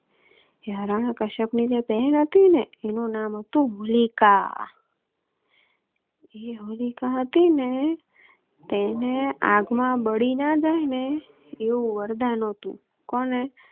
હરણી કશ્યપ ની જે બહેન હતી ને એનું નામ તો હોલિકા. એ હોલિકા હતી ને તેને આગ માં બળી ના જાય ને એવુ વરદાન હતુ. કોને